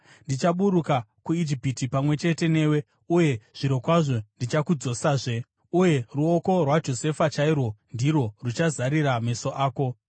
Ndichaburuka kuIjipiti pamwe chete newe, uye zvirokwazvo ndichakudzosazve. Uye ruoko rwaJosefa chairwo ndirwo ruchazarira meso ako.”